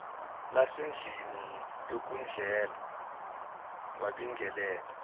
lasendlini yokudlela wabingelela